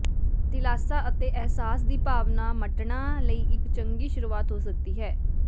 ਦਿਲਾਸਾ ਅਤੇ ਅਹਿਸਾਸ ਦੀ ਭਾਵਨਾ ਮੰਟਣਾ ਲਈ ਇੱਕ ਚੰਗੀ ਸ਼ੁਰੂਆਤ ਹੋ ਸਕਦੀ ਹੈ